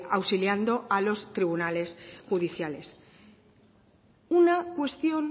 auxiliando a los tribunales judiciales una cuestión